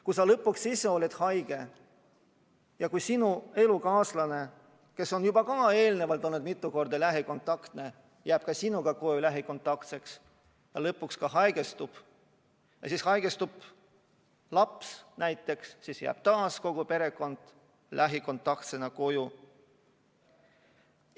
Kui sa lõpuks oled ise haige ja kui sinu elukaaslane, kes on juba eelnevalt olnud mitu korda lähikontaktne, jääb ka sinuga koju lähikontaktsena ja lõpuks haigestub, siis haigestub laps näiteks ning taas jääb kogu perekond lähikontaktsena koju.